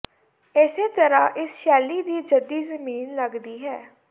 ਇਸੇ ਤਰ੍ਹਾਂ ਇਸ ਸ਼ੈਲੀ ਦੀ ਜੱਦੀ ਜ਼ਮੀਨ ਲਗਦੀ ਹੈ